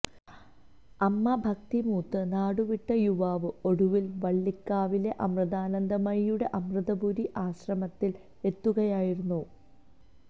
അമ്മ ഭക്തി മൂത്ത് നാടുവിട്ട യുവാവ് ഒടുവില് വള്ളിക്കാവിലെ അമൃതാനന്ദമയിയുടെ അമൃതപുരി ആശ്രമത്തില് എത്തുകയായിരുന്നു